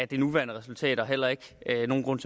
det nuværende resultat og heller ikke at der er nogen grund